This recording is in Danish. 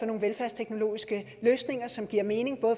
nogle velfærdsteknologiske løsninger som giver mening